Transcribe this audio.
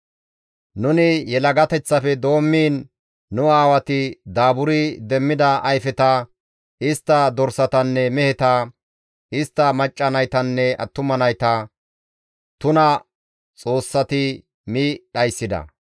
Nuni yelagateththafe doommiin nu aawati daaburi demmida ayfeta, istta dorsatanne meheta, istta macca naytanne attuma nayta tuna xoossati mi dhayssida.